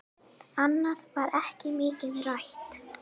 Annað var ekki mikið rætt.